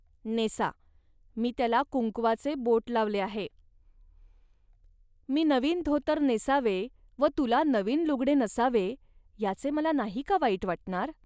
NASA, मी त्याला कुंकवाचे बोट लावले आहे. मी नवीन धोतर नेसावे व तुला नवीन लुगडे नसावे, याचे मला नाही का वाईट वाटणार